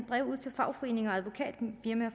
brev ud til fagforeninger